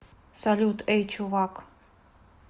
салют эй чувак